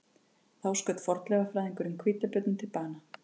Þá skaut fornleifafræðingurinn hvítabjörninn til bana